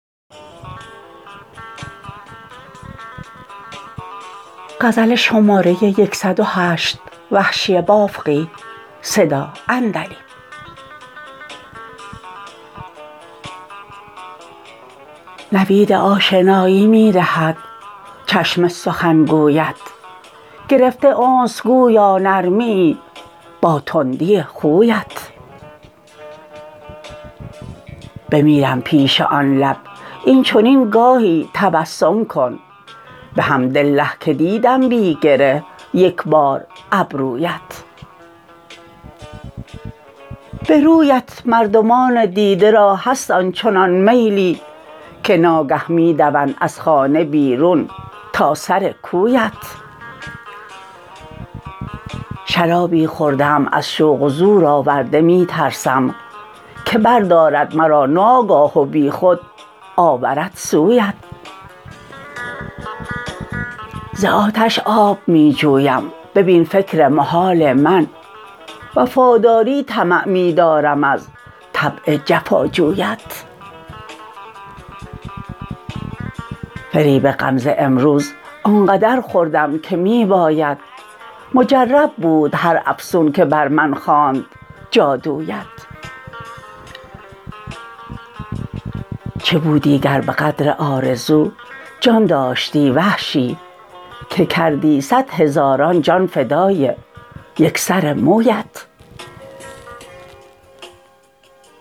نوید آشنایی می دهد چشم سخن گویت گرفته انس گویا نرمیی با تندی خویت بمیرم پیش آن لب این چنین گاهی تبسم کن بحمدالله که دیدم بی گره یک بار ابرویت به رویت مردمان دیده را هست آن چنان میلی که ناگه می دوند از خانه بیرون تا سر کویت شرابی خورده ام از شوق و زور آورده می ترسم که بردارد مرا ناگاه و بیخود آورد سویت ز آتش آب می جویم ببین فکر محال من وفاداری طمع می دارم از طبع جفاجویت فریب غمزه امروز آن قدر خوردم که می باید مجرب بود هر افسون که بر من خواند جادویت چه بودی گر به قدر آرزو جان داشتی وحشی که کردی صدهزاران جان فدای یک سر مویت